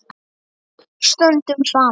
Stöndum saman.